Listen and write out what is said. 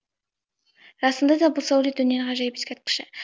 расында да бұл сәулет өнері ғажайып ескерткіші